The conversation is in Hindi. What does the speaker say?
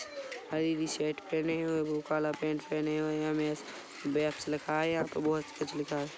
पिली सर्ट पहने हुए बो काला पेण्ट पहने हुए एम.एस फेबस लिखा हैं यहाँ तो बहुत कुछ लिखा हैं।